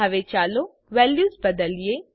હવે ચાલો વેલ્યુઝ બદલીએ